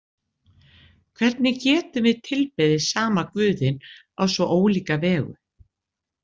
Hvernig getum við tilbeðið sama Guðinn á svo ólíka vegu?